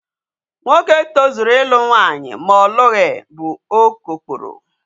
Nwoke tozuru ịlụ nwaanyị ma ọ lụghị bụ okokporo.